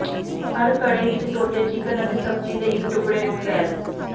ਹਰ ਘੜੇ ਵਿੱਚ ਧੋਤੇ ਚਿਕਨ ਅਤੇ ਸਬਜ਼ੀ ਦੇ ਇੱਕ ਟੁਕੜੇ ਨੂੰ ਫੈਲ